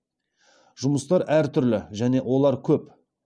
жұмыстар әр түрлі және олар көп